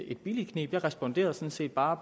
et billigt kneb jeg responderede sådan set bare